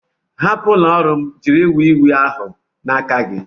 Hapụ ụlọ ọrụ m jiri wii wii ahụ n'aka gị!